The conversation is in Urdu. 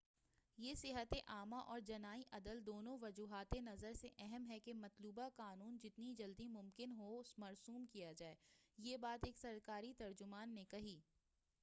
یہ صحتِ عامہ اور جنائی عدل دونوں وجہاتِ نظر سے اہم ہے کہ مطلوبہ قانون جتنی جلد ممکن ہو مرسوم کیا جائے یہ بات ایک سرکاری ترجمان نے کہی